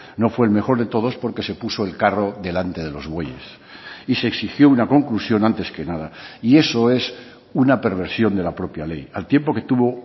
no fue el mejor de todos porque se puso el carro delante de los bueyes y se exigió una conclusión antes que nada y eso es una perversión de la propia ley al tiempo que tuvo